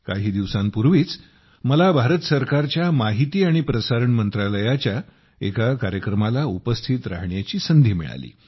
काही दिवसांपूर्वीच मला भारत सरकारच्या माहिती आणि प्रसारण मंत्रालयाच्या एका कार्यक्रमाला उपस्थित राहण्याची संधी मिळाली